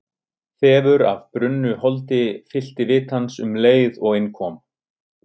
Þefur af brunnu holdi fyllti vit hans um leið og inn kom.